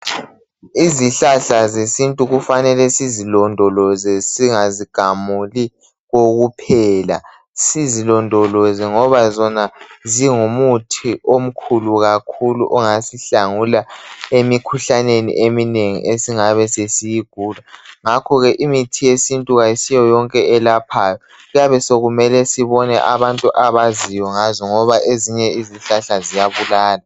Izihlahla zesintu kufanele sizilondoloze, singazigamuli kokuphela. Sizilondoloze ngoba zona zingumuthi omkhulu kakhulu ongasihlangula emikhuhlaneni eminengi esingabe sesiyigula. Ngakho ke imithi yesintu kayisiyo yonke eyelaphayo. Kuyabe sokumele sibone abantu abaziyo ngazo ngoba ezinye izihlahla ziyabulala.